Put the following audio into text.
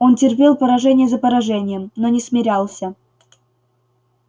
он терпел поражение за поражением но не смирялся